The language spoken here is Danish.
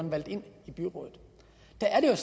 valgt ind i byrådet det er